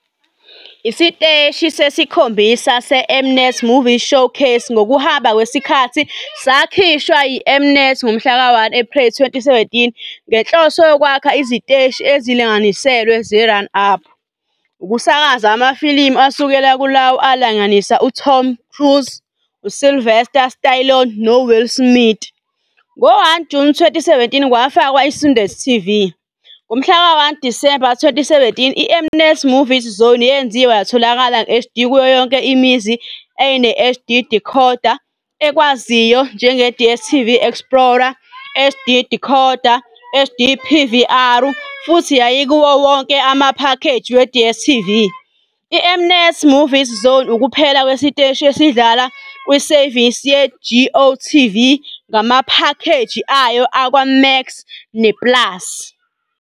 Isiteshi sesikhombisa se- M-Net Movies Showcase ngokuhamba kwesikhathi sakhishwa yi-M-Net ngomhlaka 1 Ephreli 2017 ngenhloso yokwakha iziteshi ezilinganiselwe ze-run-up, ukusakaza amafilimu asukela kulawo alingisa uTom Cruise, uSylvester Stallone noWill Smith. Ngo-1 Juni 2017 kwafakwa iSundance TV. Ngomhlaka 1 Disemba 2017, iM-Net Movies Zone yenziwa yatholakala nge-HD kuyo yonke imizi eyayine-HD decoder ekwaziyo njenge-DStv Explora, HD Decoder, HD PVR futhi yayikuwo wonke amaphakheji we-DStv. IM-Net Movies Zone ukuphela kwesiteshi esidlala kwisevisi yeGOTV ngamaphakeji ayo akwaMax ne-Plus.